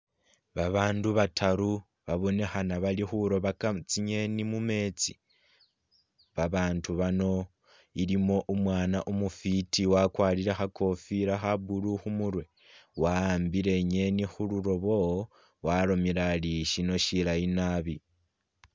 Babandu bataru babonekhena bali khurobaka tsingeeni mumeetsi. Babandu bano ilimu umwaana umufwiti wakwarire kha kofila kha blue khu murwe wa'ambile i'ngeeni khumulobo walomile ari syino shilayi nabi.